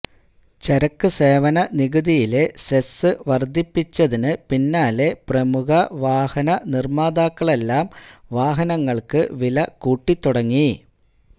ചരക്ക് സേവന നികുതിയിലെ സെസ് വര്ദ്ധിപ്പിച്ചതിന് പിന്നാലെ പ്രമുഖ വാഹന നിര്മ്മാതാക്കളെല്ലാം വാഹനങ്ങള്ക്ക് വില കൂട്ടി തുടങ്ങി